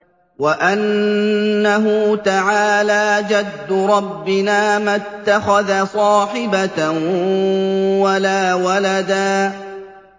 وَأَنَّهُ تَعَالَىٰ جَدُّ رَبِّنَا مَا اتَّخَذَ صَاحِبَةً وَلَا وَلَدًا